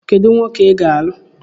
Kedu nwoke ị ga-alụ?